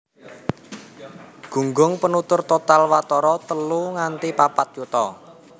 Gunggung penutur total watara telu nganti papat yuta